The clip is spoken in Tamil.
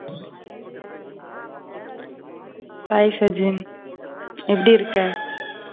Hi சஜின். எப்டி இருக்க?